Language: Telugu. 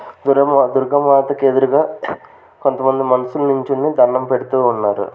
దురమ దుర్గామాత కి ఎదురుగా కొంతమంది మనుషులు నించుని దణ్ణం పెడుతూ ఉన్నారు.